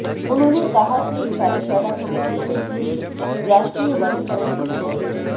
उन्होंनेे कहा कि इस कार्यशाला का मुख्य उद्देश्य राष्ट्रीय वनीकरण योजना